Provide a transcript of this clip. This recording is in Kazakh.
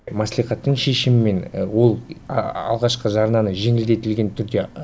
маслихаттың шешімімен ол алғашқы жарнаны жеңілдетілген түрде